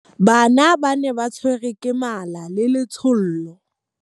Bana ba ne ba tshwerwe ke mala le letshollo.